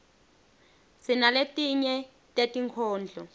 sinaletinye tetinkhondlo